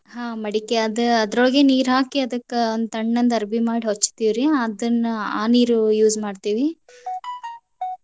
ಹಾ ಮಡಿಕೆ ಆದ್ ಅದ್ರೊಳಗೆ ನೀರ್ ಹಾಕಿ ಅದಕ್ಕ್ ಒಂದ್ ತಣ್ಣಂದ್ ಅರ್ಬಿ ಮಾಡಿ ಹೊಚ್ಚತೀವ್ರಿ. ಅದನ್ನ ಆ ನೀರು use ಮಾಡ್ತೇವಿ.